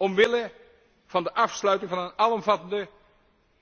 Omwille van de afsluiting van een alomvattende